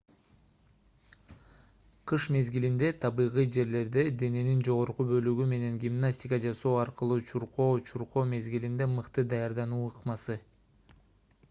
кыш мезгилинде табигый жерлерде дененин жогорку бөлүгү менен гимнастика жасоо аркылуу чуркоо чуркоо мезгилине мыкты даярдануу ыкмасы